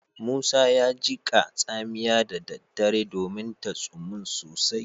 Musa ya jiƙa tsamiya da daddare domin ta tsumun sosai